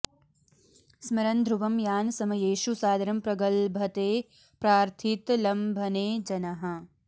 स्मरन् ध्रुवं यान् समयेषु सादरं प्रगल्भते प्रार्थितलम्भने जनः